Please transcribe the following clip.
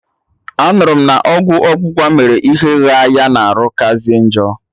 Anụrụ m na ọgwụ ọgbụgba mere ihe ghaa ya na arụ kazie njọ